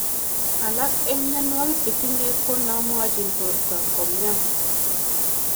Alak eng myanwogik che tinye ko na mwachin bortonyi komyan